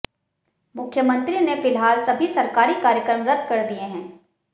मुख्यमंत्री ने फिलहाल सभी सरकारी कार्यक्रम रद्द कर दिए हैं